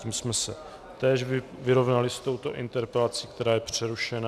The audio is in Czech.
Tím jsme se též vyrovnali s touto interpelací, která je přerušena.